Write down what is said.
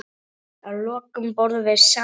Að lokum borðum við saman.